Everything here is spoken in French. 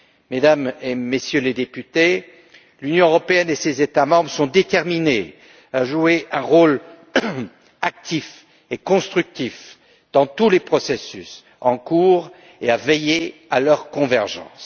Mesdames et Messieurs les Députés, l'Union européenne et ses États membres sont déterminés à jouer un rôle actif et constructif dans tous les processus en cours et à veiller à leur convergence.